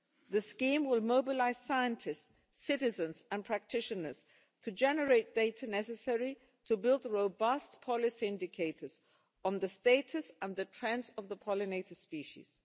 The scheme will mobilise scientists, citizens and practitioners to generate data necessary to build robust policy indicators on the status and the trends of the pollinator species.